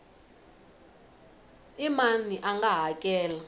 i mani a nga hakela